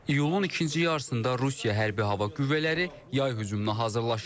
İyunun ikinci yarısında Rusiya hərbi hava qüvvələri yay hücumuna hazırlaşır.